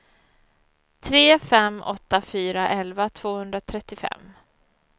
tre fem åtta fyra elva tvåhundratrettiofem